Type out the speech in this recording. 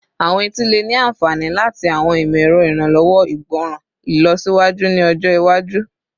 Awọn eti le ni anfani lati awọn imọ-ẹrọ iranlọwọ igbọran ilọsiwaju ni ọjọ iwaju